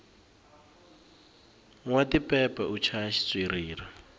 nwa tipepe u chaya xitswiriri